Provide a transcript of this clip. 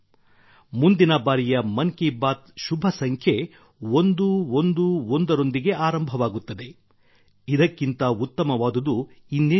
ಮುಂದಿನ ಬಾರಿಯ ಮನ್ ಕಿ ಬಾತ್ ಶುಭಸಂಖ್ಯೆ 111ರೊಂದಿಗೆ ಆರಂಭವಾಗುತ್ತದೆ ಇದಕ್ಕಿಂತ ಉತ್ತಮವಾದುದು ಇನ್ನೇನಿರುತ್ತದೆ